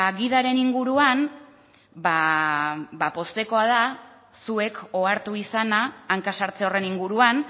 gidaren inguruan ba poztekoa da zuek ohartu izana hanka sartze horren inguruan